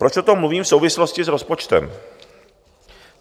Proč o tom mluvím v souvislosti s rozpočtem?